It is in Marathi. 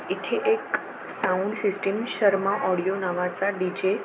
इथे एक साउंड सिस्टीम शर्मा ओडीओ नावाचा डी.जे. --